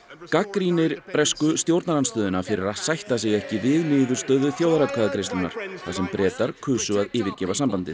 gagnrýnir stjórnarandstöðuna fyrir að sætta sig ekki við niðurstöðu þjóðaratkvæðagreiðslunnar þar sem Bretar kusu að yfirgefa sambandið